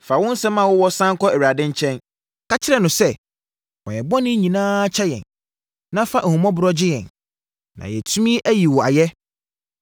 Fa wo nsɛm a wowɔ sane kɔ Awurade nkyɛn. Ka kyerɛ no sɛ, “Fa yɛn bɔne nyinaa kyɛ yɛn, na fa ahummɔborɔ gye yɛn, na yɛatumi ayi wo ayɛ.